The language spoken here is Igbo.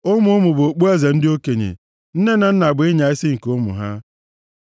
Ụmụ ụmụ bụ okpueze ndị okenye. Nne na nna bụ ịnya isi nke ụmụ ha.